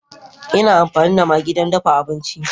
Ina amfani da maggi don dafa abinci.